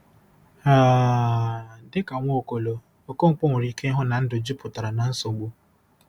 um Dị ka Nwaokolo, Okonkwo nwere ike ịhụ na ndụ jupụtara na nsogbu.